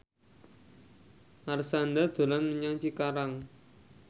Marshanda dolan menyang Cikarang